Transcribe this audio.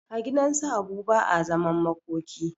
A gidansu habu ba a zaman makoki